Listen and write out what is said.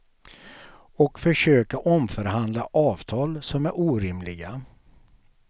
Och försöka omförhandla avtal som är orimliga.